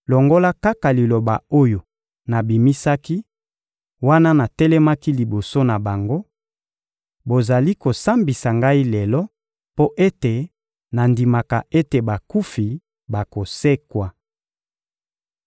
longola kaka liloba oyo nabimisaki, wana natelemaki liboso na bango: «Bozali kosambisa ngai lelo mpo ete nandimaka ete bakufi bakosekwa!»